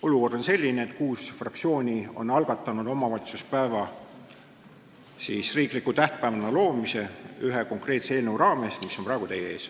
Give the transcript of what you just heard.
Olukord on selline, et kuus fraktsiooni on algatanud omavalitsuspäeva riikliku tähtpäevana loomise ja teinud seda ühe konkreetse eelnõu raames, mis on praegu teie ees.